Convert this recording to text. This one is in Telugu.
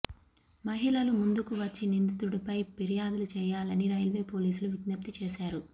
మహిళలు ముందుకు వచ్చి నిందితుడిపై ఫిర్యాదులు చేయాలని రైల్వేపోలీసులు విజ్ఞప్తి చేశారు